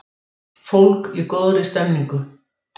Fólk í góðri stemningu!